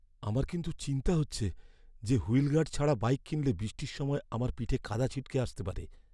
আমার কিন্তু চিন্তা হচ্ছে যে, হুইল গার্ড ছাড়া বাইক কিনলে বৃষ্টির সময় আমার পিঠে কাদা ছিটকে আসতে পারে।